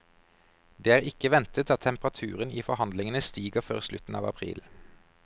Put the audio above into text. Det er ikke ventet at temperaturen i forhandlingene stiger før slutten av april.